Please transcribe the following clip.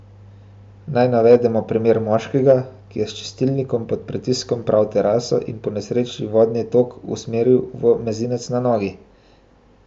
Naj navedemo primer moškega, ki je s čistilnikom pod pritiskom pral teraso in po nesreči vodni tok usmeril v mezinec na nogi.